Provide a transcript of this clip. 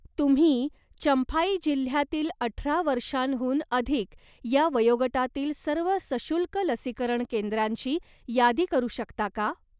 तुम्ही चंफाई जिल्ह्यातील अठरा वर्षांहून अधिक या वयोगटातील सर्व सशुल्क लसीकरण केंद्रांची यादी करू शकता का?